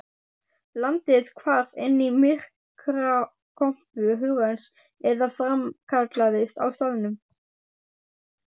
Landið hvarf inn í myrkrakompu hugans eða framkallaðist á staðnum.